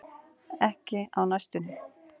Ekki á næstunni.